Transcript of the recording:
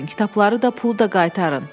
Kitabları da, pulu da qaytarın.